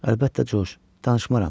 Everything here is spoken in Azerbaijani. Əlbəttə, Corc, danışmaram.